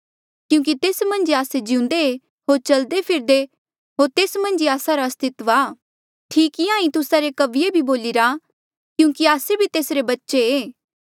क्यूंकि तेस मन्झ ई आस्से जिउंदे ऐें होर चलदे फिरदे होर तेस मन्झ ई आस्सा रा अस्तित्व आ ठीक इंहां ई तुस्सा रे कविये भी बोलिरा क्यूंकि आस्से भी तेसरे बच्चे ऐें